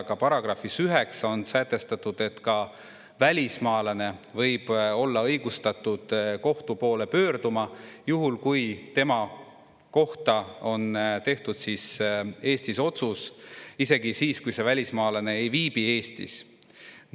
Ja §-s 9 on sätestatud, et ka välismaalane võib olla õigustatud kohtu poole pöörduma, juhul kui tema kohta on tehtud Eestis otsus, isegi siis, kui see välismaalane ei viibi Eestis.